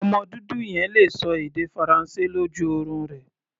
Ọmọ dúdú yẹn le ṣọ èdè Faransé lójú orun rẹ̀.